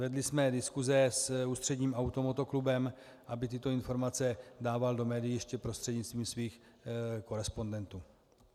Vedli jsme diskuse s Ústředním automotoklubem, aby tyto informace dával do médií ještě prostřednictvím svých korespondentů.